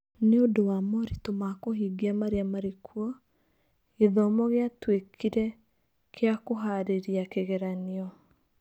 Nĩ ũndũ wa moritũ ma kũhingia marĩa maarĩ kuo, gĩthomo gĩatuĩkire kĩa kũhaarĩria kĩgeranio.